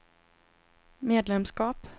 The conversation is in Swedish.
medlemskap